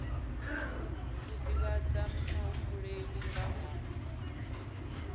u divhadza muhumbeli nga ha